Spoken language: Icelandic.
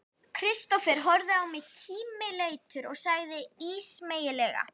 Kristófer horfði á mig kímileitur og sagði ísmeygilega